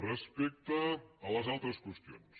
respecte a les altres qüestions